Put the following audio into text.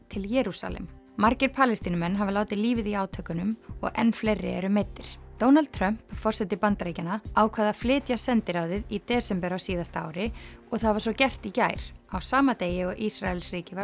til Jerúsalem margir Palestínumenn hafa látið lífið í átökunum og enn fleiri eru meiddir Donald Trump forseti Bandaríkjanna ákvað að flytja sendiráðið í desember á síðasta ári og það var svo gert í gær á sama degi og Ísraelsríki var